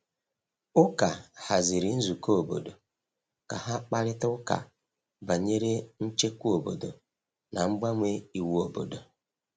Ụka haziri nzukọ obodo ka ha kparịta ụka banyere nchekwa obodo na mgbanwe iwu obodo.